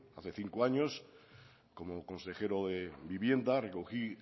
hace cinco años como consejero de vivienda recogí